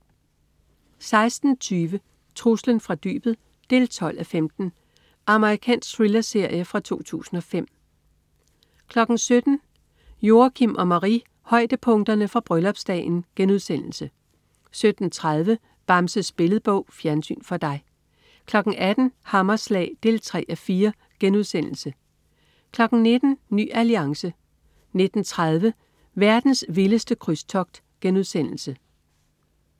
16.20 Truslen fra dybet 12:15. Amerikansk thrillerserie fra 2005 17.00 Joachim og Marie: Højdepunkterne fra bryllupsdagen* 17.30 Bamses Billedbog. Fjernsyn for dig 18.00 Hammerslag 3:4* 19.00 Ny Alliance 19.30 Verdens vildeste krydstogt*